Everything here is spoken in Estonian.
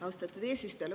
Austatud eesistuja!